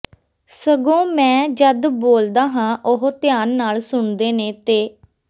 ਸਗੋਂ ਮੈਂ ਜਦ ਬੋਲਦਾ ਹਾਂ ਉਹ ਧਿਆਨ ਨਾਲ ਸੁਣਦੇ ਨੇ ਤੇ